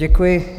Děkuji.